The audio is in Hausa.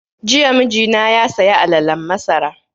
Jiya mijina ya saya alalen masara